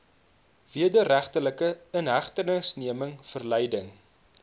wederregtelike inhegtenisneming verleiding